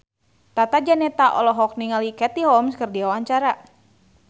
Tata Janeta olohok ningali Katie Holmes keur diwawancara